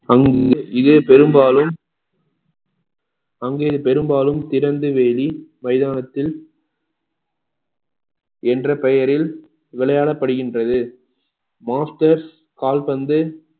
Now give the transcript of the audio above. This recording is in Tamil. அங்கு இது பெரும்பாலும் அங்கே பெரும்பாலும் திறந்தவெளி மைதானத்தில் என்ற பெயரில் விளையாடப்படுகின்றது masters கால்பந்து